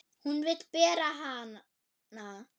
Hún vill bera hana.